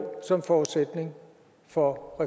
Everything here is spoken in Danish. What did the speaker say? som forudsætning for